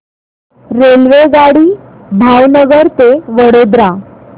रेल्वेगाडी भावनगर ते वडोदरा